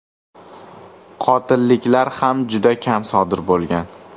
Qotilliklar ham juda kam sodir bo‘lgan.